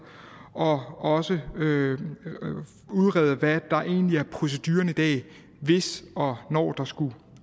og også udrede hvad der egentlig er proceduren i dag hvis og når der skulle